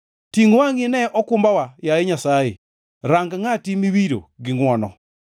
Tingʼ wangʼi ine okumbawa, yaye Nyasaye; rang ngʼati miwiro gi ngʼwono.